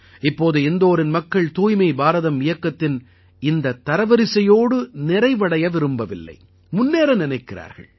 இப்போது இந்தோரின் மக்கள் தூய்மை பாரதம் இயக்கத்தின் இந்தத் தரவரிசையோடு நிறைவடைய விரும்பவில்லை முன்னேற நினைக்கிறார்கள்